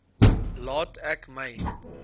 laat ek my